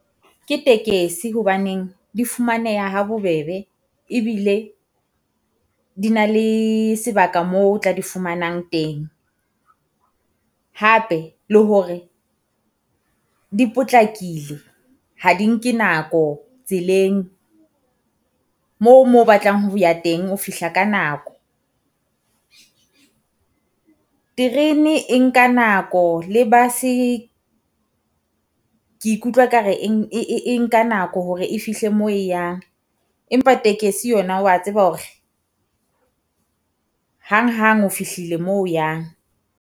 Ke tekesi hobaneng di fumaneha ha bobebe, ebile di na le sebaka moo o tla di fumanang teng. Hape le hore di potlakile ha di nke nako tseleng moo moo o batlang ho ya teng ho fihla ka nako. Terene e nka nako le bus-e ke ikutlwa ka re e nka nako hore e fihle moo e yang, empa tekesi yona wa tseba hore hang hang o fihlile moo o yang.